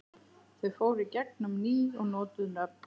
Þau fóru í gegn um ný og notuð nöfn.